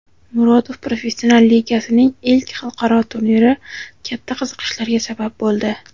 "Murodov Professional Ligasi"ning ilk xalqaro turniri katta qiziqishlarga sabab bo‘ldi.